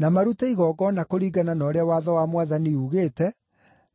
na marute igongona kũringana na ũrĩa Watho wa Mwathani uugĩte: